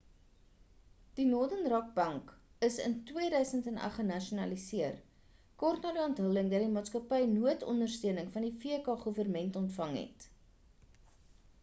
die northern rock bank is in 2008 genasionaliseer kort na die onthulling dat die maatskappy noodondersteuning van die vk goewerment ontvang het